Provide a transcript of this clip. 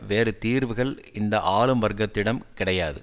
வேறு தீர்வுகள் இந்த ஆளும் வர்க்கத்திடம் கிடையாது